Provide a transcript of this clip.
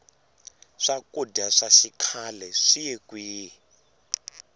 swakudya swa xikhle swiye kwini